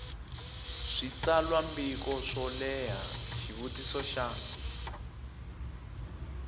switsalwambiko swo leha xivutiso xa